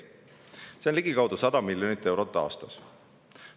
See on ligikaudu 100 miljonit eurot aastas.